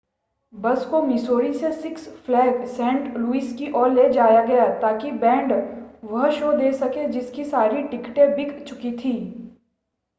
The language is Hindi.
बस को मिसौरी में सिक्स फ़्लैग्स सेंट लुइस की ओर ले जाया गया ताकि बैंड वह शो दे सके जिसकी सारी टिकटें बिक चुकी थी